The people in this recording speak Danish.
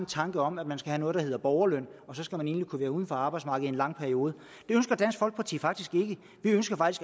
tanke om at man skal have noget der hedder borgerløn og så skal man egentlig kunne være uden for arbejdsmarkedet lang periode det ønsker dansk folkeparti faktisk ikke vi ønsker